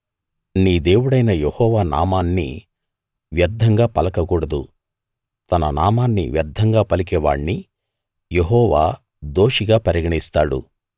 నీ దేవుడైన యెహోవా నామాన్ని వ్యర్థంగా పలకకూడదు తన నామాన్ని వ్యర్థంగా పలికే వాణ్ణి యెహోవా దోషిగా పరిగణిస్తాడు